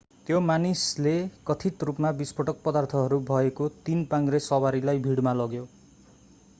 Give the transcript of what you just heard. त्यो मानिसले कथित रूपमा विस्फोटक पदार्थहरू भएको तीन-पाङ्ग्रे सवारीलाई भिडमा लग्यो